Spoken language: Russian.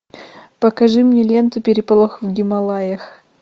покажи мне ленту переполох в гималаях